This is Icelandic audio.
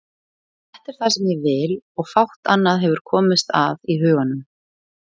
Þetta er það sem ég vil og fátt annað hefur komist að í huganum.